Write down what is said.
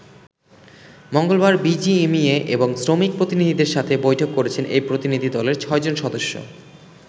মঙ্গলবার বিজিএমইএ এবং শ্রমিক প্রতিনিধিদের সাথে বৈঠক করেছে এই প্রতিনিধি দলের ছয়জন সদস্য।